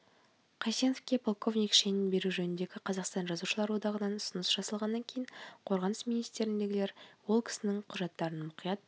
қайсеновке полковник шенін беру жөнінде қазақстан жазушылар одағынан ұсыныс жасалғаннан кейін қорғаныс министірлігіндегілер ол кісінің құжаттарын мұқият